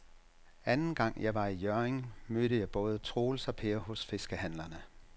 Anden gang jeg var i Hjørring, mødte jeg både Troels og Per hos fiskehandlerne.